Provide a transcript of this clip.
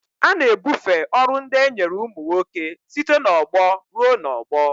A na-ebufe ọrụ ndị e nyere ụmụ nwoke site n'ọgbọ ruo n'ọgbọ.